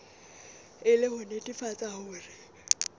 e le ho netefatsa hore